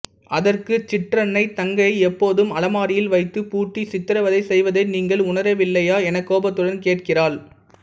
அதற்கு சிற்றன்னை தங்கையை எப்போதும் அலமாரியில் வைத்துப் பூட்டி சித்திரவதை செய்வதை நீங்கள் உணரவில்லையா எனக் கோபத்துடன் கேட்கிறாள்